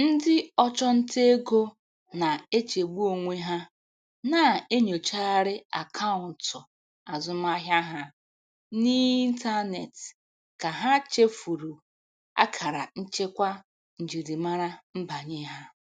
Ndị ọchụnta ego na-echegbu onwe ha na-enyochagharị akaụntụ azụmaahịa ha n'ịntanetị ka ha chefuru akara nchekwa njirimara nbanye ha.